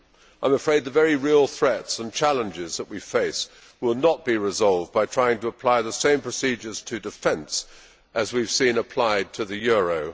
I am afraid that the very real threats and challenges that we face will not be resolved by trying to apply the same procedures to defence as we have seen applied to the euro.